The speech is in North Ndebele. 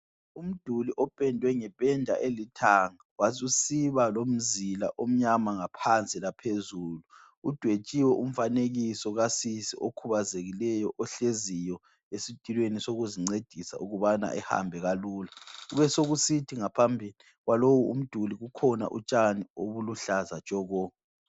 Umduli opendwe ngependa elithanga wasusiba lomzila omnyama ngaphansi laphezulu, udwetshiwe umfanekiso kasisi okhubazekileyo ohleziyo esitulweni sokuzincedisa ukubana ehambe kalula. Kubesokusithi ngaphambi kwalowu umduli kukhona utshani obuluhlaza tshoko.